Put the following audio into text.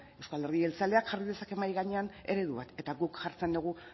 euzko alderdi jeltzaleak jarri dezake mahai gainean eredu bat eta guk jartzen dugu